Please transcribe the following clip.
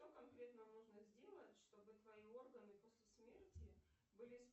что конкретно нужно сделать чтобы твои органы после смерти были